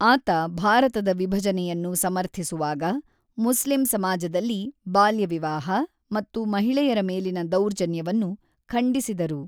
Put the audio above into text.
ಆತ ಭಾರತದ ವಿಭಜನೆಯನ್ನು ಸಮರ್ಥಿಸುವಾಗ, ಮುಸ್ಲಿಂ ಸಮಾಜದಲ್ಲಿ ಬಾಲ್ಯ ವಿವಾಹ ಮತ್ತು ಮಹಿಳೆಯರ ಮೇಲಿನ ದೌರ್ಜನ್ಯವನ್ನು ಖಂಡಿಸಿದರು.